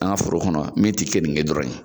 An ka foro kɔnɔ ,min ti kenike dɔrɔn ye.